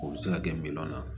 O bɛ se ka kɛ min na